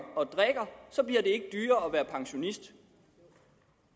og være pensionist